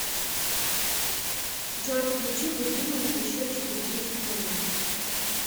джой включи будильник еще через десять минут